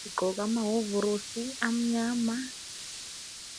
bagqoke amahovorosi amnyama.